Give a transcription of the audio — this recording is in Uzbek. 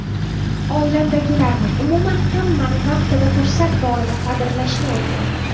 Oilamdagilarni, umuman, hammani vaqtida, fursat borida qadrlashni o‘rgandim.